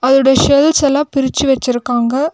அதோட செல்ஸ் எல்லா பிரிச்சு வச்சுருக்காங்க.